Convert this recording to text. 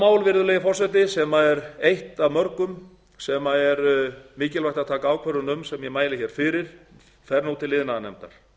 mál virðulegi forseti sem er eitt af mörgum sem er mikilvægt að taka ákvörðun um sem ég mæli fyrir fer nú til iðnaðarnefndar